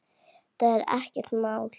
Þetta er ekkert mál!